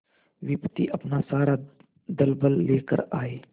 विपत्ति अपना सारा दलबल लेकर आए